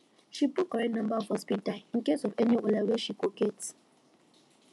she put correct number for speed dial incase of any wahala wey she go get